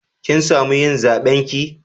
Kin samu yin zaben ki?